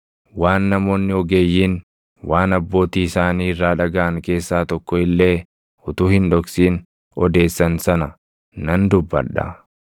waan namoonni ogeeyyiin waan abbootii isaanii irraa dhagaʼan keessaa tokko illee utuu hin dhoksin odeessan sana nan dubbadha;